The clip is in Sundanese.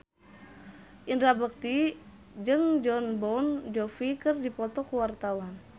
Indra Bekti jeung Jon Bon Jovi keur dipoto ku wartawan